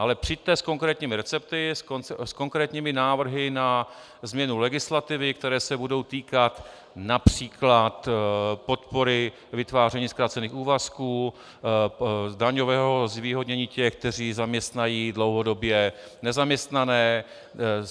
Ale přijďte s konkrétními recepty, s konkrétními návrhy na změnu legislativy, které se budou týkat například podpory vytváření zkrácených úvazků, daňového zvýhodnění těch, kteří zaměstnají dlouhodobě nezaměstnané.